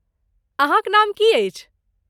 अहाँक नाम की अछि?